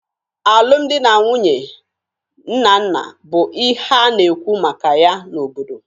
Alụmdi na nwunye Nnanna bụ ihe a na-ekwu maka ya n’obodo